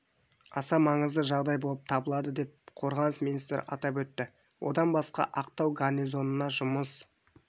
аса маңызды жағдай болып табылады деп қорғаныс министрі атап өтті одан басқа ақтау гарнизонына жұмыс